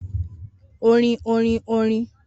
Orin orin orin orin